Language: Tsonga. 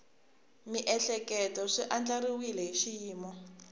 miehleketo swi andlariwile hi xiyimo